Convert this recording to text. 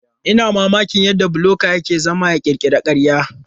Ina mamakin yadda bloga ke zama ya ƙirƙira ƙarya.